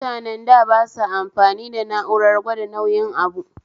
Mutanen da basa amfani da na'urar gwada nauyin abu